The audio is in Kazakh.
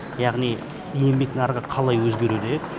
яғни еңбек нарығы қалай өзгереді